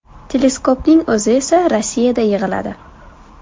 Teleskopning o‘zi esa Rossiyada yig‘iladi.